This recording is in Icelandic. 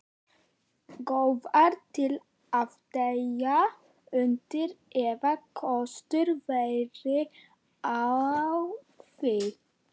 Góðar til að deyja undir, ef kostur væri á því.